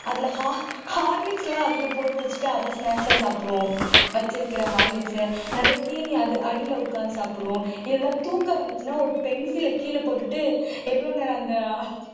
அதுல ho horlicks எல்லாம் அதுல போட்டு வச்சிட்டு அதை snacks ஆ சாப்பிடுவோம் வச்சிருக்கிற horlicks அ நிறைய தீனி அடி அடியில உட்கார்ந்து சாப்பிடுவோம் இல்லைன்னா தூக்கம் வந்துச்சுன்னா ஒரு pencil அ கீழே போட்டுட்டு எவ்வளவு நேரம் அந்த